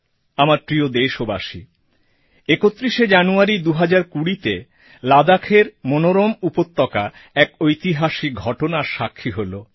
আমার প্রিয় দেশবাসী একত্রিশে জানুয়ারি 2020তে লাদাখের মনোরম উপত্যকা এক ঐতিহাসিক ঘটনার সাক্ষী হল